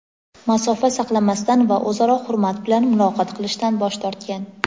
masofa saqlamasdan va o‘zaro hurmat bilan muloqot qilishdan bosh tortgan.